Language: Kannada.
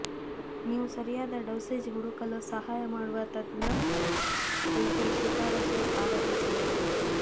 ನೀವು ಸರಿಯಾದ ಡೋಸೇಜ್ ಹುಡುಕಲು ಸಹಾಯ ಮಾಡುವ ತಜ್ಞ ಭೇಟಿ ಶಿಫಾರಸು ಆರಂಭಿಸಲು